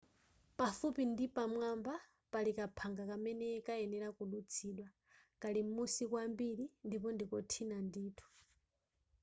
pafupi ndi pamwamba pali kaphanga kamene kayenera kudutsidwa kali m'musi kwambiri ndipo ndikothina ndithu